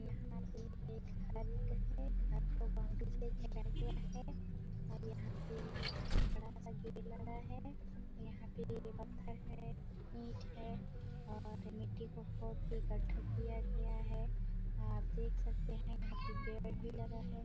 यहाँ पे एक घर है घर को बाउंड्री से सजाया गया है और यहाँ पे एक यहाँ बड़ा-सा गेट लगा है यहाँ पे बड़ा पत्थर है ईट है और मिट्टी को खोद के गड्ढा किया गया है आप देख सकते है यहाँ पे पेड़ भी लगा है।